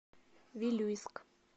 вилюйск